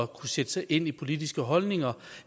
kunne sætte sig ind i politiske holdninger